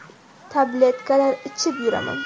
Tabletkalar ichib yuraman.